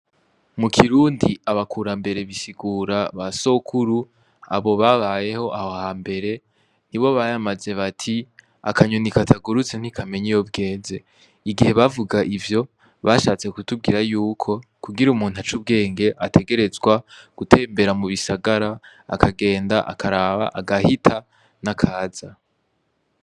Mu kirundi abakurambere bisigura ba sokuru abo babayeho ahha mbere ni bo bayamaze bati akanyunika atagurutse ntikamenya iyo bwenze igihe bavuga ivyo bashatse kutubwira yuko kugira umuntu ac'ubwenge ategerezwa gutembera mu bisagara akagenda karaba agahita na kaza.